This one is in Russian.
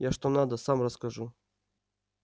я что надо сам расскажу